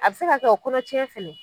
A be se ka kɛ o kɔnɔtiɲɛn fɛnɛ